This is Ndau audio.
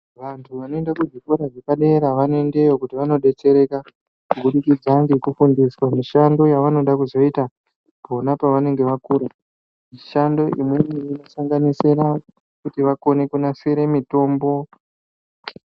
Vantu vanoenda kuzvikora zvepadera vanoendeyo kuti vanodetsereka kubudikidza ngekufundiswa mishando yavanoda kuzoita pona pavanenge vakura. Mishando imweni inosanganisira kuti vakone kunasire mitombo.